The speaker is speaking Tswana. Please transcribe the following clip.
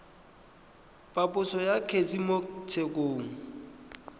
phaposo ya kgetse mo tshekong